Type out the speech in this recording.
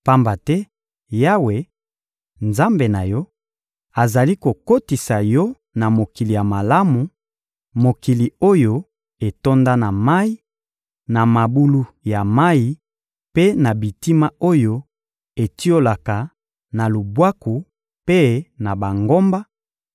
Pamba te Yawe, Nzambe na yo, azali kokotisa yo na mokili ya malamu, mokili oyo etonda na mayi, na mabulu ya mayi mpe na bitima oyo etiolaka na lubwaku mpe na bangomba;